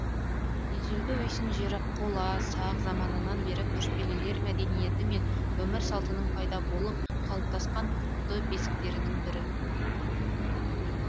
ежелгі үйсін жері қола сақ заманынан бері көшпелілер мәдениеті мен өмір салтының пайда болып қалыптасқан құтты бесіктерінің бірі